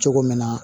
Cogo min na